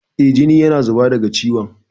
Eh, jini yana zuba daga ciwon.